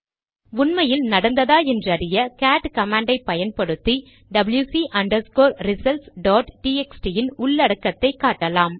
உண்மையில் நடந்ததா என்றறிய கேட் கமாண்டை பயன்படுத்தி டபில்யுசி ரிசல்ட்ஸ் டாட் டிஎக்ஸ்டி இன் உள்ளடக்கத்தை காட்டலாம்